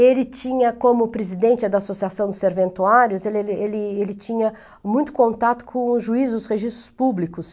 Ele tinha, como presidente da Associação dos Serventuários, ele ele ele tinha muito contato com os juízes dos registros públicos.